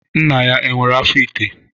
Nna ya nwere afọ ite?